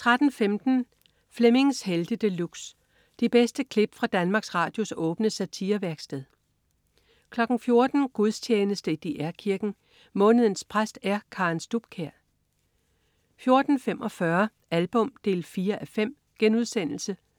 13.15 Flemmings Helte De Luxe. De bedste klip fra Danmarks Radios åbne satirevæksted 14.00 Gudstjeneste i DR Kirken. Månedens præst er Karen Stubkjær 14.45 Album 4:5.*